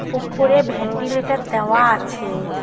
ওপরে ভ্যান্ডিলেটর দেওয়া আছে।